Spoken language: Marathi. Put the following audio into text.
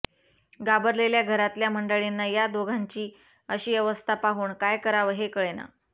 घाबरलेल्या घरातल्या मंडळींना या दोघांची अशी अवस्था पाहून काय कराव हे कळेना